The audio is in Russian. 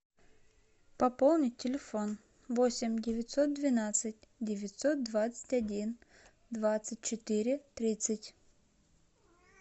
пополнить телефон восемь девятьсот двенадцать девятьсот двадцать один двадцать четыре тридцать